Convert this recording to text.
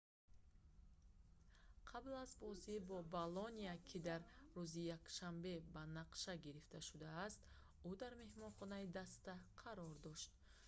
қабл аз бозӣ бо болония ки дар рӯзи якшанбе ба нақша гирифта шудааст ӯ дар меҳмонхонаи даста қарор дошт